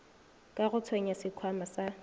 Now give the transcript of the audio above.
ka go tsenya sekhwama sa